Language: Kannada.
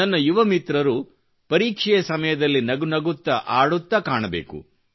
ನನ್ನ ಯುವ ಮಿತ್ರರು ಪರೀಕ್ಷೆಯ ಸಮಯದಲ್ಲಿ ನಗುನಗುತ್ತ ಆಡುತ್ತ ಕಾಣಬೇಕು